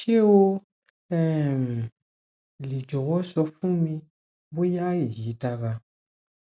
ṣe o um le jọwọ sọ fun mi boya eyi dara